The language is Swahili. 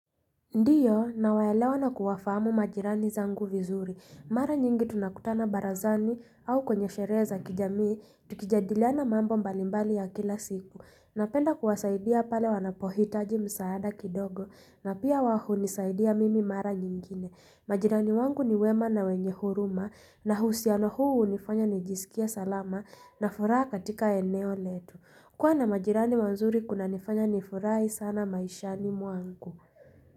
Ndiyo nawaelewa na kuwafahamu majirani zangu vizuri. Mara nyingi tunakutana barazani au kwenye sherehe za kijamii. Tukijadiliana mambo mbalimbali ya kila siku. Napenda kuwasaidia pale wanapohitaji msaada kidogo na pia wao hunisaidia mimi mara nyingine. Majirani wangu ni wema na wenye huruma na husiano huu unifanya nijisikie salama na furaha katika eneo letu. Kuwa na majirani wanzuri kunanifanya nifurahi sana maishani mwangu.